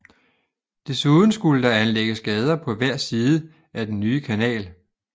Desuden skulle der anlægges gader på hver side af den nye kanal